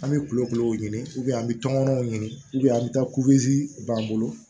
An bɛ kulokulo ɲini an bɛ tɔmɔnɔw ɲini an bɛ taa b'an bolo